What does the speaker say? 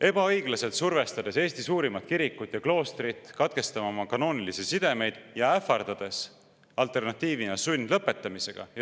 –, ebaõiglaselt survestades Eesti suurimat kirikut ja kloostrit katkestama oma kanoonilisi sidemeid ja ähvardades alternatiivina sundlõpetamisega.